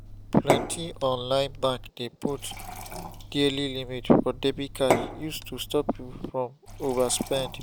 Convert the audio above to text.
plenty online bank dey put daily limit for debit card use to stop people from overspend